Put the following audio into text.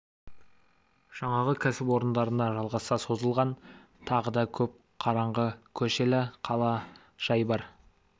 жаңағы кәсіпорындарына жалғаса созылған тағы да көп қараңғы көшелі қала жай бар